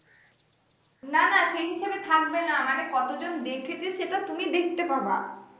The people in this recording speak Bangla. না না সেই হিসেবে থাকবে না মানে কতজন দেখেছে সেটা তুমি দেখতে পারবা।